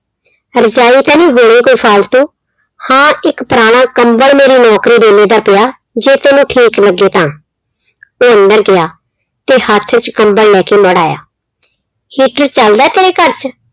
ਰਜਾਈ ਤਾਂ ਨੀ ਹੈਗੀ ਕੋਈ ਫਾਲਤੂ, ਹਾਂ ਇੱਕ ਪੁਰਾਣਾ ਕੰਬਲ ਮੇਰੀ ਨੌਕਰੀ ਵੇਲੇ ਦਾ ਪਿਆ, ਜੇ ਤੈਨੂੰ ਠੀਕ ਲੱਗੇ ਤਾਂ ਉਹ ਅੰਦਰ ਗਿਆ ਤੇੇ ਹੱਥ ਚ ਕੰਬਲ ਲੈ ਕੇ ਮੁੜ ਆਇਆ, heater ਚੱਲਦਾ ਤੇਰੇ ਘਰ ਚ